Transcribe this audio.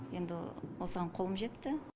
енді осыған қолым жетті